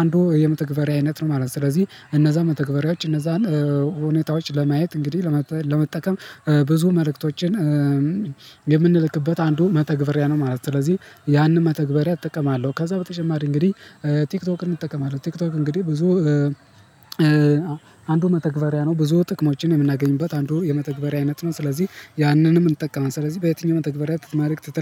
አንዱ የመተግበሪያ አይነት ነው ማለት ነው። ስለዚህ እነዛ መተግበሪያዎች እነዛን ሁኔታዎች ለማየት እንግዲህ ለመጠቀም ብዙ መልእክቶችን የምንልክበት አንዱ መተግብሪያ ነው ማለት ነው። ስለዚህ ያንን መተግበሪያ እጠቀማለሁ። ከዛ በተጨማሪ እንግዲህ ቲክቶክን እጠቀማለሁ ቲክቶክ እንግዲህ ብዙ አንዱ መተግበሪያ ነው ብዙ ጥቅሞችን የምናገኝበት አንዱ የመተግበሪያ አይነት ነው። ስለዚህ ያንንም እንጠቀመን ስለዚህ በየትኛውም ተግባሪያት መልክት ትልክ